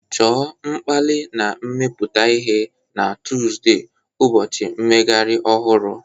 Chọọ mkpali na imepụta ihe na Tọzdee, ụbọchị mmeghari ohuru